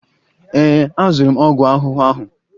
Ee, azụrụ m ọgwụ ahụhụ ahụ.